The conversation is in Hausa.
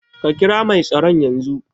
Ka kira mai tsaron yazo